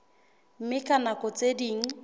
mme ka nako tse ding